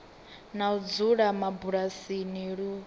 na u dzula mabulasini lu